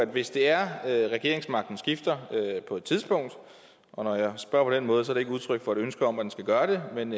hvis det er at regeringsmagten skifter og når jeg spørger på den måde er det ikke udtryk for et ønske om at den skal gøre det men